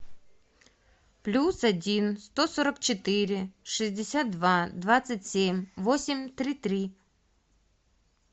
плюс один сто сорок четыре шестьдесят два двадцать семь восемь три три